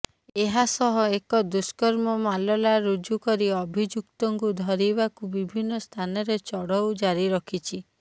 ଏହାସହ ଏକ ଦୁଷ୍କର୍ମ ମାଲଲା ରୁଜୁ କରି ଅଭିଯୁକ୍ତକୁ ଧରିବାକୁ ବିଭିନ୍ନ ସ୍ଥାନରେ ଚଢ଼ଉ ଜାରି ରଖିଛି